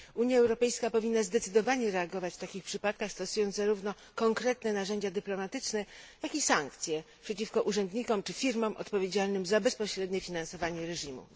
Unia Europejska powinna zdecydowanie reagować w takich przypadkach, stosując zarówno konkretne narzędzia dyplomatyczne, jak i sankcje przeciwko urzędnikom czy firmom odpowiedzialnym za bezpośrednie finansowanie reżimu.